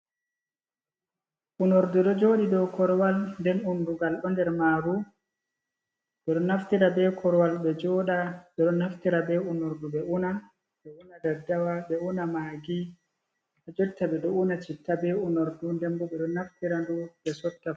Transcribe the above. Unordu ɗo joɗi dow korwal den undugal bo nder maru, ɓeɗo naftira be korwal ɓe joɗa, ɓeɗo naftira be unordu ɓe una daddawa, ɓe una magi, ajotta ɓe ɗo una citta be unordu ndembo ɓeɗo naftira ndu be sotta fu.